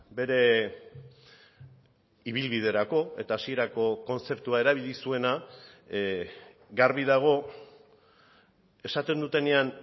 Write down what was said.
bere ibilbiderako eta hasierako kontzeptua erabili zuena garbi dago esaten dutenean